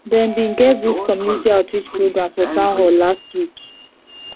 dem bin get this community outreach program for town hall last week